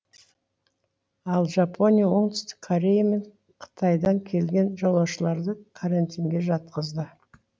ал жапония оңтүстік корея мен қытайдан келген жолаушыларды карантинге жатқызды